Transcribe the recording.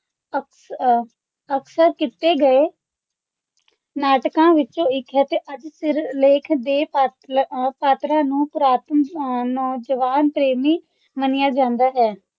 ਅਕਸ ਅਹ ਅਕਸਰ ਕੀਤੇ ਗਏ ਨਾਟਕਾਂ ਵਿੱਚੋਂ ਇੱਕ ਹੈ ਤੇ ਅੱਜ ਸਿਰਲੇਖ ਦੇ ਪਾਤਰ ਅਹ ਪਾਤਰਾਂ ਨੂੰ ਪੁਰਾਤਨ ਅਹ ਨੌਜਵਾਨ ਪ੍ਰੇਮੀ ਮੰਨਿਆ ਜਾਂਦਾ ਹੈ।